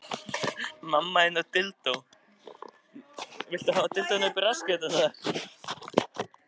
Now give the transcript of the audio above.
Hjörleifur, hvað er á innkaupalistanum mínum?